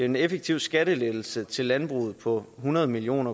en effektiv skattelettelse til landbruget på hundrede million